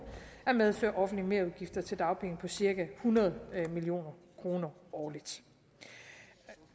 at medføre offentlige merudgifter til dagpenge på cirka hundrede million kroner årligt